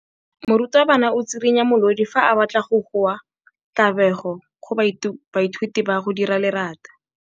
Morutwabana o tswirinya molodi fa a batla go goa tlabego go baithuti ba go dira lerata.